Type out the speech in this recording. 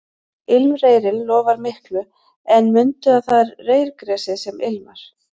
Ilmreyrinn lofar miklu en mundu að það er reyrgresið sem ilmar